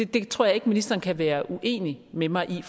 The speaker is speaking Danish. tror jeg ikke ministeren kan være uenig med mig i